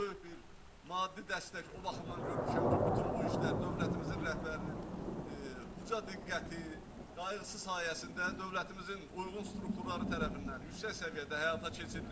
Böyük bir maddi dəstək o baxımdan görmüşəm ki, bütün bu işlər dövlətimizin rəhbərinin uca diqqəti, qayğısı sayəsində dövlətimizin uyğun strukturları tərəfindən yüksək səviyyədə həyata keçirilib.